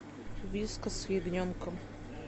вискас с ягненком